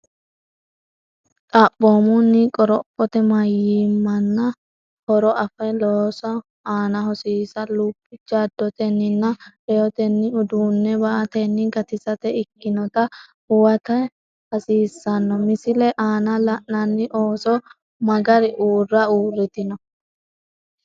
Xaphoomunni, qorophote mayimmanna horo afe loosu aana hosiisa lub jaddotenninna reyotenni ,uduunne ba”atenni gatisate ikkinota huwata hasiissanno, Misile aana la’inanni ooso magari uurra uurritino?